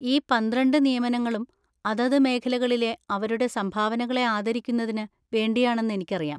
ഈ പന്ത്രണ്ട് നിയമനങ്ങളും അതത് മേഖലകളിലെ അവരുടെ സംഭാവനകളെ ആദരിക്കുന്നതിന് വേണ്ടിയാണെന്ന് എനിക്കറിയാം.